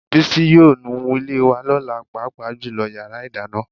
Bísí yóò nu ilé wa lọ́la, pàápàá jùlọ yàrá ìdáná